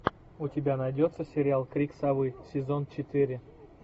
у тебя найдется сериал крик совы сезон четыре